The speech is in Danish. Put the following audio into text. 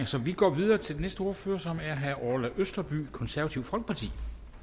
så vi går videre til den næste ordfører som er herre orla østerby konservative folkeparti